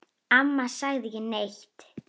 Amma sagði ekki neitt.